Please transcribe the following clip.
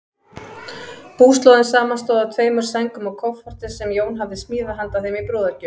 Búslóðin samanstóð af tveimur sængum og kofforti, sem Jón hafði smíðað handa þeim í brúðargjöf.